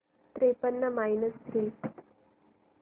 त्रेपन्न minus three